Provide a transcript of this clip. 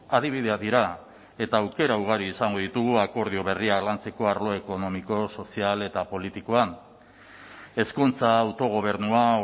adibideak dira eta aukera ugari izango ditugu akordio berriak lantzeko arlo ekonomiko sozial eta politikoan hezkuntza autogobernua